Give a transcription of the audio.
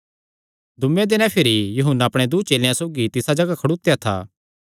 दूँये दिने भिरी यूहन्ना अपणे दूँ चेलेयां सौगी तिसा जगाह खड़ोत्या था